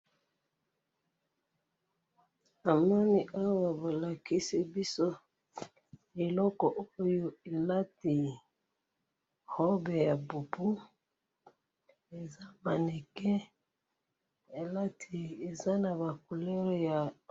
Namoni awa balakisi biso eloko oyo elati robe ya boubou, eza mannequin, elati eza naba couleurs ya.